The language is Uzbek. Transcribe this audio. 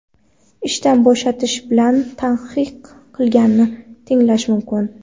ishdan bo‘shatish bilan tahdid qilganini tinglash mumkin.